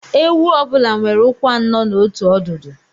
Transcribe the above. Ewu ọ bụla nwere ụkwụ anọ na otu ọdụdu